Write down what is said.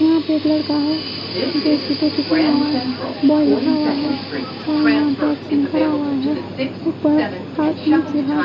यहाँ पे एक लड़का है जो उसकी टोपी पहना हुआ है बॉय लिखा हुआ है जो यहाँ पे एक्शन करा हुआ है ऊपर हाथ नीचे हाथ--